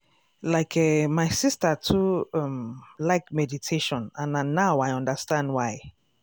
like eh my sister too um like meditation and na now i understand why.